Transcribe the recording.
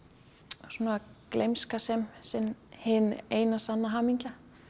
svona gleymska sem sem hin eina sanna hamingja